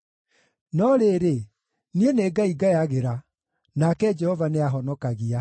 No rĩrĩ, niĩ nĩ Ngai ngayagĩra, nake Jehova nĩahonokagia.